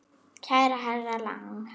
Kæri herra Lang.